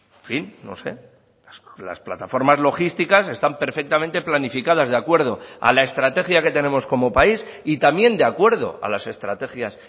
en fin no sé las plataformas logísticas están perfectamente planificadas de acuerdo a la estrategia que tenemos como país y también de acuerdo a las estrategias